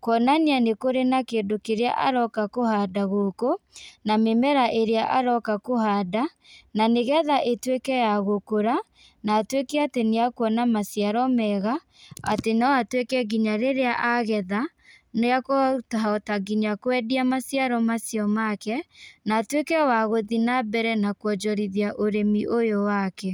kuonania nĩkũrĩ na kĩndũ kĩrĩa aroka kũhanda gũkũ, na mĩmera ĩrĩa aroka kũhanda, na nĩgetha ĩtuĩke ya gũkũra, na atuĩke atĩ nĩakuona maciaro mega, atĩ no atuĩke nginya rĩrĩa agetha, niakũhota nginya kwendia maciro macio make, na atuĩke wa gũthi nambere na kuonjorithia ũrĩmi ũyũ wake.